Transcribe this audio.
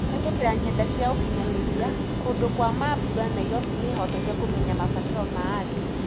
Kũhetũkĩra nyenda cia ũkinyanĩria, kũndu kwa mambũra Nairobi nĩhotete kũmenya mabataro ma andũ.